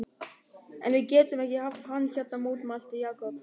En við getum ekki haft hann hérna mótmælti Jakob.